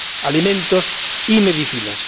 alimentos y medicinas.